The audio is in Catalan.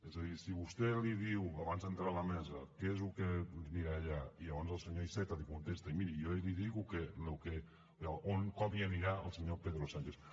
és a dir si vostè li diu abans d’entrar a la mesa què és el que dirà allà i llavors el senyor iceta li contesta miri jo li dic com hi anirà el senyor pedro sánchez